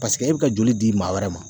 e bɛ ka joli di maa wɛrɛ ma